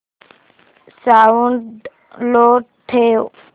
sound low ठेव